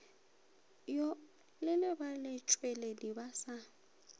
wo le lebjaletšweledi ba sa